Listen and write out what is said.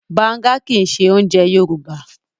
Bàǹga kì í ṣe oúnjẹ Yorùbá.